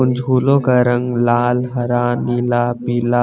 उन झूलो का रंग लाल हरा नीला पीला--